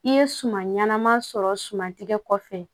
I ye suman ɲɛnama sɔrɔ suman tigɛ kɔfɛ